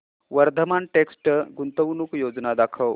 Vardhman text गुंतवणूक योजना दाखव